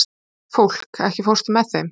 Fólki, ekki fórstu með þeim?